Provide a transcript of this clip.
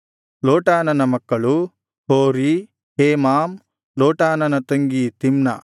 ಲೋಟಾನನ ಮಕ್ಕಳು ಹೋರಿ ಹೇಮಾಮ್ ಲೋಟಾನನ ತಂಗಿ ತಿಮ್ನಾ